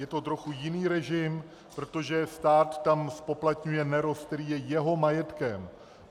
Je to trochu jiný režim, protože stát tam zpoplatňuje nerost, který je jeho majetkem.